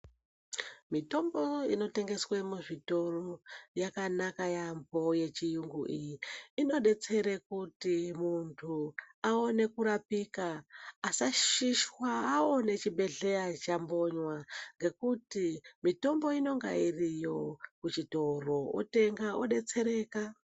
Mitombo inotengeswe muzvitoro yakanaka yaambo yechiyungu iyi. Inobetsere kuti muntu aone kurapika asashishwa aone chibhedhleya chambonywa. Ngekuti mitombo inonga iriyo kuchitoro otenga obetsereka.